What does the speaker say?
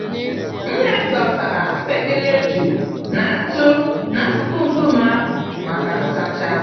Nne m dosara mkpekele eju na ntụ n'akụkụ nkume ahụ maka nsacha.